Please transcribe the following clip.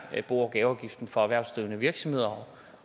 bo og gaveafgiften for erhvervsdrivende virksomheder